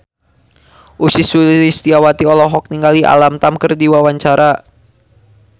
Ussy Sulistyawati olohok ningali Alam Tam keur diwawancara